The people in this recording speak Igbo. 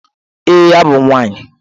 Ee, abụ m nwaanyị.